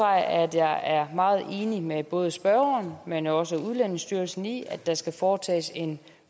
at jeg er meget enig med både spørgeren men også udlændingestyrelsen i at der skal foretages en